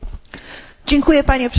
Panie Przewodniczący!